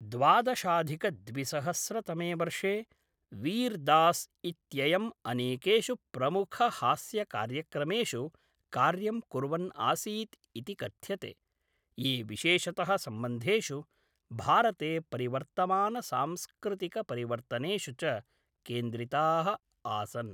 द्वादशाधिकद्विसहस्रतमे वर्षे, वीर् दास् इत्ययम् अनेकेषु प्रमुखहास्यकार्यक्रमेषु कार्यं कुर्वन् आसीत् इति कथ्यते, ये विशेषतः सम्बन्धेषु, भारते परिवर्तमानसांस्कृतिकपरिवर्तनेषु च केन्द्रिताः आसन्।